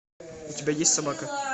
у тебя есть собака